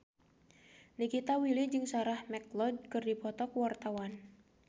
Nikita Willy jeung Sarah McLeod keur dipoto ku wartawan